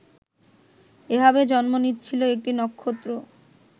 এভাবে জন্ম নিচ্ছিল একটি নক্ষত্র